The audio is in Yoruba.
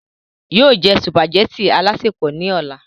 yóò jẹ sùpàgẹ́tì alásèpọ̀ ní ọ̀la